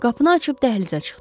Qapını açıb dəhlizə çıxdı.